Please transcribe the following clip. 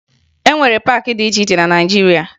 E nwere paakị dị iche iche na Naịjirịa